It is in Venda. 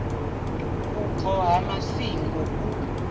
nga vhubvo ha masingo u